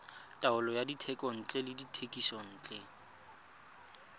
taolo ya dithekontle le dithekisontle